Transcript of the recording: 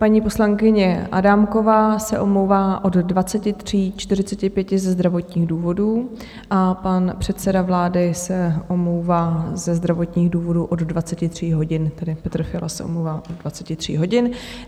Paní poslankyně Adámková se omlouvá od 23.45 ze zdravotních důvodů a pan předseda vlády se omlouvá ze zdravotních důvodů od 23.00 hodin, tedy Petr Fiala se omlouvá od 23.00 hodin.